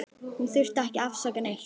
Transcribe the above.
Hún þurfti ekki að afsaka neitt.